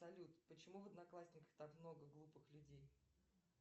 салют почему в одноклассниках так много глупых людей